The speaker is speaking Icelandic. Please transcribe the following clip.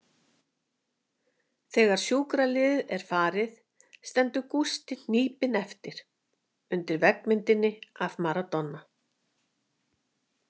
Þegar sjúkraliðið er farið stendur Gústi hnípinn eftir, undir veggmyndinni af Maradona.